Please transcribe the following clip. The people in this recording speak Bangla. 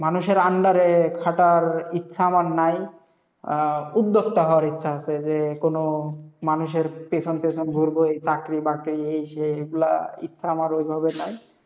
মানুষের under -এ খাটার ইচ্ছা আমার নাই, আহ উদ্যোক্তা হওয়ার ইচ্ছা আছে, যে, কোনো মানুষের পেছন পেছন ঘুরবো এই চাকরি বাকরি এই সেই এইগুলা ইচ্ছা আমার ওইভাবে নাই,